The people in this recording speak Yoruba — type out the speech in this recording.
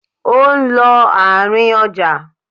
Ó ń lọ àárín ọjà.